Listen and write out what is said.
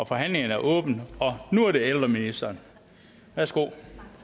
forhandlingen er åbnet og nu er det ældreministeren værsgo